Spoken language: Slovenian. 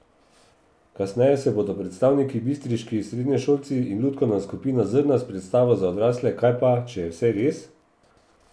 Kasneje se bodo predstavili bistriški srednješolci in lutkovna skupina Zrna s predstavo za odrasle Kaj pa, če je vse res?